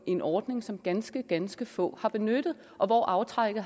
en ordning som ganske ganske få har benyttet og hvor aftrækket